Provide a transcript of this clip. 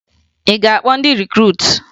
Ị ga-akpọ ndị rikruutu?